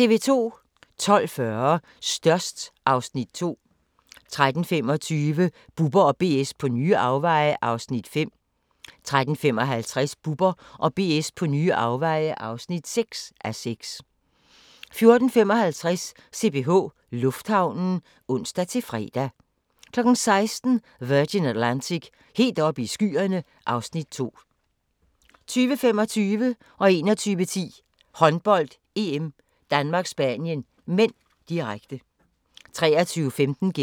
12:40: Størst (Afs. 2) 13:25: Bubber & BS på nye afveje (5:6) 13:55: Bubber & BS på nye afveje (6:6) 14:55: CPH Lufthavnen (ons-fre) 16:00: Virgin Atlantic - helt oppe i skyerne (Afs. 2) 20:25: Håndbold: EM - Danmark-Spanien (m), direkte 21:10: Håndbold: EM - Danmark-Spanien (m), direkte